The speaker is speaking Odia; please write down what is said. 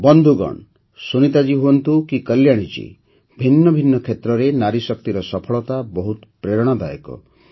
ବନ୍ଧୁଗଣ ସୁନୀତା ଜୀ ହୁଅନ୍ତୁ କି କଲ୍ୟାଣୀ ଜୀ ଭିନ୍ନ ଭିନ୍ନ କ୍ଷେତ୍ରରେ ନାରୀଶକ୍ତିର ସଫଳତା ବହୁତ ପ୍ରେରଣାଦାୟକ